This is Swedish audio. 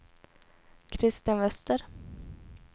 Christian Wester